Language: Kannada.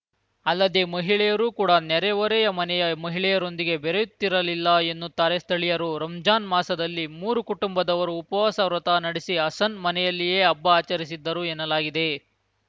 ಅಲ್ಲದೆ ಮಹಿಳೆಯರು ಕೂಡ ನೆರೆ ಹೊರೆಯ ಮನೆಯ ಮಹಿಳೆಯರೊಂದಿಗೆ ಬೆರೆಯುತ್ತಿರಲಿಲ್ಲ ಎನ್ನುತ್ತಾರೆ ಸ್ಥಳೀಯರು ರಂಜಾನ್‌ ಮಾಸದಲ್ಲಿ ಮೂರು ಕುಟುಂಬದವರು ಉಪವಾಸ ವ್ರತ ನಡೆಸಿ ಹಸನ್‌ ಮನೆಯಲ್ಲಿಯೇ ಹಬ್ಬ ಆಚರಿಸಿದ್ದರು ಎನ್ನಲಾಗಿದೆ